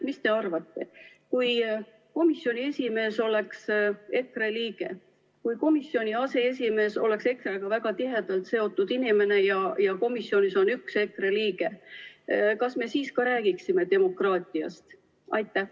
Mis te arvate, kui komisjoni esimees oleks EKRE liige, kui komisjoni aseesimees oleks EKRE‑ga väga tihedalt seotud inimene ja komisjonis oleks ka üks EKRE liige, kas me siis ka räägiksime demokraatiast?